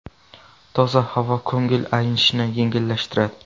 Toza havo ko‘ngil aynishni yengillashtiradi.